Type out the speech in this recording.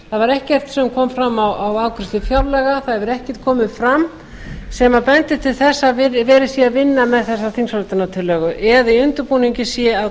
var ekkert sem kom fram á afgreiðslu fjárlaga það hefur ekkert komið fram sem bendir til þess að verið sé að vinna með þessa þingsályktunartillögu eða í undirbúningi sé